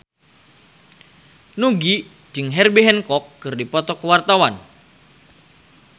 Nugie jeung Herbie Hancock keur dipoto ku wartawan